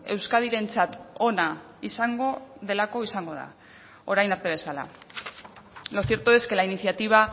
euskadirentzat ona izango delako izango da orain arte bezala lo cierto es que la iniciativa